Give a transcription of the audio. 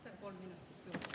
Ma võtan kolm minutit juurde.